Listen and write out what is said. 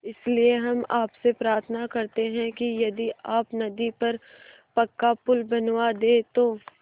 इसलिए हम आपसे प्रार्थना करते हैं कि यदि आप नदी पर पक्का पुल बनवा दे तो